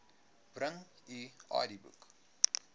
bring u idboek